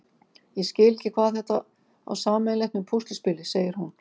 Ég skil ekki hvað þetta á sameiginlegt með púsluspili, segir hún.